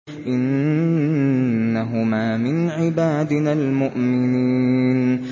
إِنَّهُمَا مِنْ عِبَادِنَا الْمُؤْمِنِينَ